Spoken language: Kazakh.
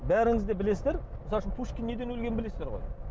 бәріңіз де білесіздер мысалы үшін пушкин неден өлгенін білесіздер ғой